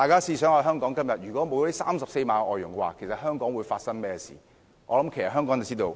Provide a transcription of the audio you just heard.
試想象一下，如果今天沒有這34萬名外傭，香港會發生甚麼事呢？